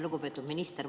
Lugupeetud minister!